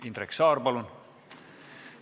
Indrek Saar, palun!